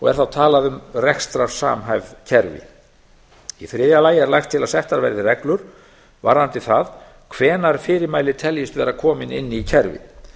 er þá talað um rekstrarsamhæfð kerfi í þriðja lagi er lagt til að settar verði reglur varðandi það hvenær fyrirmæli teljist vera komin inn í kerfið